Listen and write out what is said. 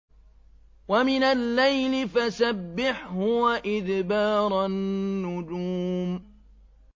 وَمِنَ اللَّيْلِ فَسَبِّحْهُ وَإِدْبَارَ النُّجُومِ